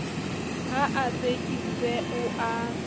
ha a tsekiswe o a